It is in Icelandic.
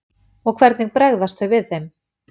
Og hvernig bregðast þau við þeim?